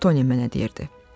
Lutoni mənə deyirdi.